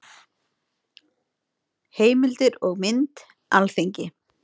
Heimildir og mynd: Alþingi.